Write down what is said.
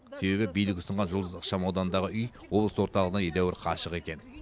себебі билік ұсынған жұлдыз ықшам ауданындағы үй облыс орталығынан едәуір қашық екен